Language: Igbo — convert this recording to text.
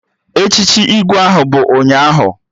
Echichi Igwe ahụ bụ ụnyaahụ